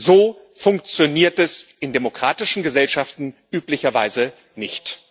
So funktioniert es in demokratischen Gesellschaften üblicherweise nicht.